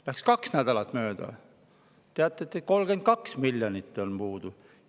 Läks kaks nädalat mööda, teatati, et 32 miljonit on puudu.